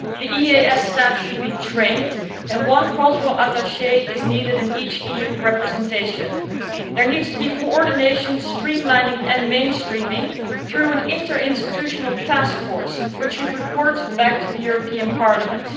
EEAS staff should be trained, and a cultural attaché is needed in each EU representation. There needs to be coordination, streamlining and mainstreaming through an interinstitutional taskforce which should report back to the European Parliament.